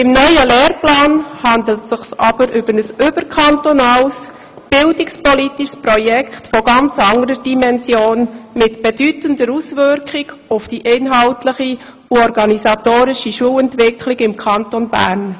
Beim neuen Lehrplan handelt es sich aber um ein überkantonales bildungspolitisches Projekt von ganz anderer Dimension, mit bedeutender Auswirkung auf die inhaltliche und organisatorische Schulentwicklung im Kanton Bern.